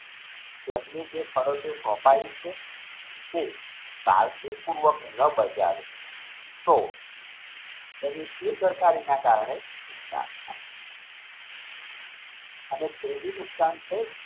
તેમની જે ફરજો સોપાઈ છે કે આર્થિક પૂર્વક ન બગાડ તો એની બેદરકારીના કારણે અને ત્રીજું નુકશાન છે